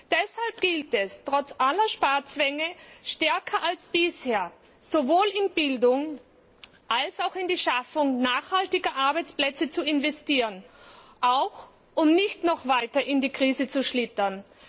Deshalb gilt es, trotz aller Sparzwänge stärker als bisher sowohl in Bildung als auch in die Schaffung nachhaltiger Arbeitsplätze zu investieren, um nicht noch weiter in die Krise zu schlittern.